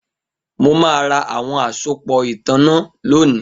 Mo ma ra awọn asopọ itanna lónìí